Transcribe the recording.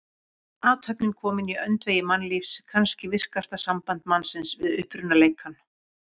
Athöfnin komin í öndvegi mannlífs, kannski virkasta samband mannsins við upprunaleikann.